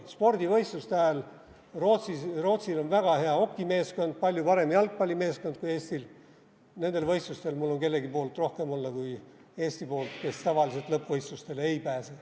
Spordivõistluste ajal on Rootsil väga hea hokimeeskond, palju parem jalgpallimeeskond kui Eestil, nendel võistlustel on mul kellegi poolt rohkem olla kui Eesti poolt, kes tavaliselt lõppvõistlustele ei pääse.